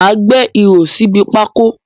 Má a gbẹ́ ihò síbi pákó